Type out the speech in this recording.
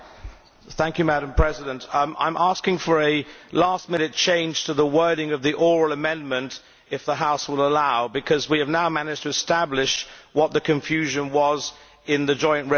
Madam President, I am asking for a last minute change to the wording of the oral amendment if the House will allow because we have now managed to establish what the confusion was in the joint resolution.